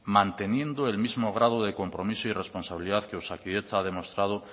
manteniendo el mismo grado de compromiso y responsabilidad que osakidetza ha demostrado